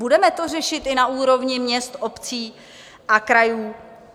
Budeme to řešit i na úrovni měst, obcí a krajů?